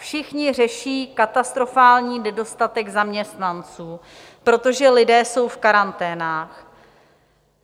Všichni řeší katastrofální nedostatek zaměstnanců, protože lidé jsou v karanténách.